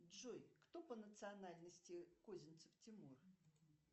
джой кто по национальности козинцев тимур